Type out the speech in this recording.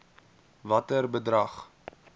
watter bedrag